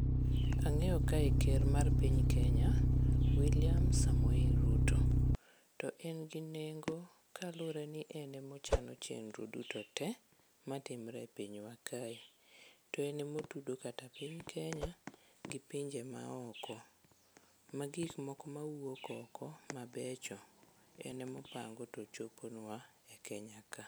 Ang'eyo kae ker mar piny Kenya Wiliam Samoei Ruto to en gi nengo kaluwore ni en e mochano chenro duto te matimre pinywa kae to en emotudo piny Kenya gi pinje maoko. Ma gik moko mawuok oko mabecho en e mopango to choponwa e Kenya ka.